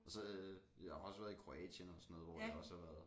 Og så øh jeg har også været i Kroatien og sådan noget hvor det også har været